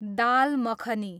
दाल makhani